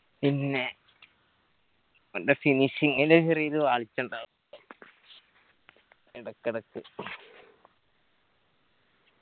പിന്നെ ഓന്റെ finishing ല് ചെറിയൊരു പാഴ്ച്ച ഇണ്ടാവും ഇടക്കെടക്ക്